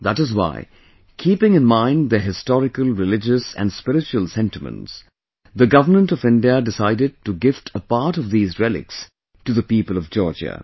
That is why keeping in mind their historical, religious and spiritual sentiments, the Government of India decided to gift a part of these relics to the people of Georgia